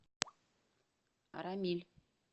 арамиль